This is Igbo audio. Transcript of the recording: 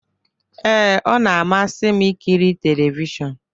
Ee, ọ na-amasị m ikiri telivishọn.